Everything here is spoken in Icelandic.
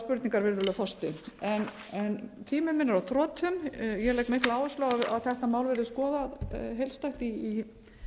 spurningar virðulegur forseti tími minn er á þrotum ég legg mikla áherslu á að þetta mál verði skoðað heildstætt í